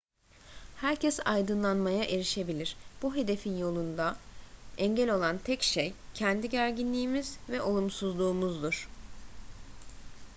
herkes aydınlanmaya erişebilir bu hedefin yolunda engel olan tek şey kendi gerginliğimiz ve olumsuzluğumuzdur